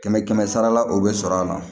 Kɛmɛ kɛmɛ sarala o bɛ sɔrɔ a la